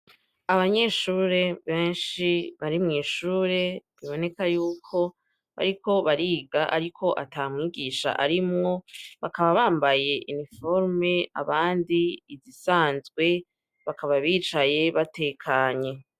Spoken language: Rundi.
Abanyeshure benshi bari mw'ishure, biboneka yuko bariko bariga ariko ata mwigisha arimwo. Bakaba bambaye iniforme abandi izisanzwe, bakaba bicaye batekanye.